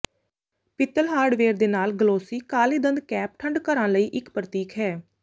ਪਿੱਤਲ ਹਾਰਡਵੇਅਰ ਦੇ ਨਾਲ ਗਲੋਸੀ ਕਾਲੇ ਦੰਦ ਕੈਪ ਠੰਢ ਘਰਾਂ ਲਈ ਇੱਕ ਪ੍ਰਤੀਕ ਹੈ